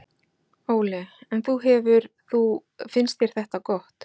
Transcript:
Óli: En þú hefur þú, finnst þér þetta gott?